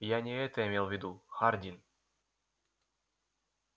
я не это имел в виду хардин